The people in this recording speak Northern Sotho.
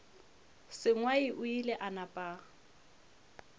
sengwai o ile a napa